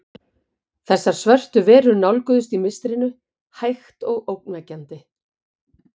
Þessar svörtu verur nálguðust í mistrinu, hægt og ógnvekjandi.